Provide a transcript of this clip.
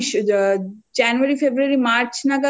দেখা যাচ্ছে কিন্তু আমরা না সেরকম পাইনি কারন তুইতো